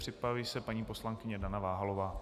Připraví se paní poslankyně Dana Váhalová.